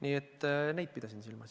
Seda ma pidasin silmas.